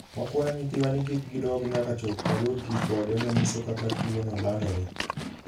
"Wakwayo nyithiwa ni kik gidog nyaka chop wayud ripode manyiso kaka tuwono landore".